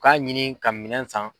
U t'a ɲini ka minɛn san